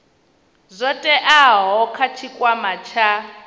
zwo teaho kha tshikwama tsha